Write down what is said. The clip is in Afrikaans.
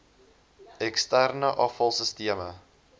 eksterne afval sisteme